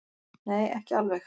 Nei, ekki alveg.